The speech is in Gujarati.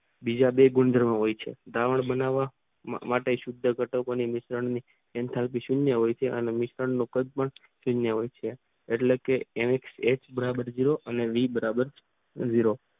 બીજા બે ગુણધર્મો હોય છે દ્રાવણ બનાવવા માટે સુદ્ધઘટકો મિશ્રણની સુન્યો હોય છે અને મિશ્રણનું કદ પણ શૂન્ય હોય છે એટલે કે એક અને દ્વિભાજક દ્રવ્યો